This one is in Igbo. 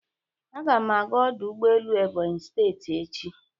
Aga m aga ọdụ ụgbọelu Ebonyi steeti echi